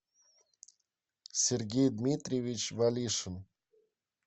сергей дмитриевич валишин